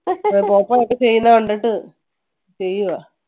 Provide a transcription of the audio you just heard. പോപ്പോ ഇപ്പൊ ചെയ്യുന്നത് കണ്ടിട്ട് ചെയ്യുവാ.